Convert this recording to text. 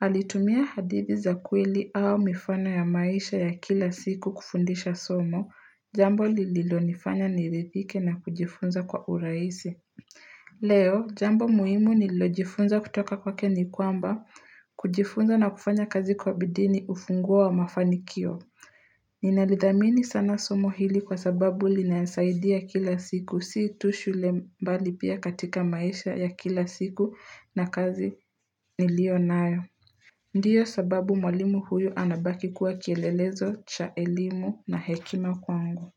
alitumia hadithi za kweli au mifano ya maisha ya kila siku kufundisha somo, jambo lililo nifanya nirithike na kujifunza kwa uraisi. Leo, jambo muhimu nililo jifunza kutoka kwake ni kwamba, kujifunza na kufanya kazi kwa bidii ni ufunguo wa mafanikio. Ninalidhamini sana somo hili kwa sababu linansaidia kila siku si tu shule mbali pia katika maisha ya kila siku na kazi nilio nayo Ndiyo sababu mwalimu huyu anabaki kuwa kielelezo cha elimu na hekima kwangu.